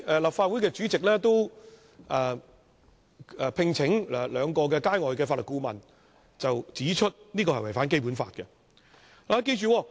立法會主席聘請的兩位外界法律顧問，均指修訂違反《基本法》。